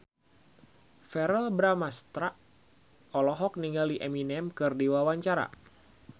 Verrell Bramastra olohok ningali Eminem keur diwawancara